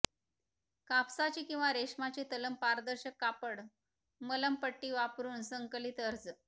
कापसाचे किंवा रेशमाचे तलम पारदर्शक कापड मलमपट्टी वापरून संकलित अर्ज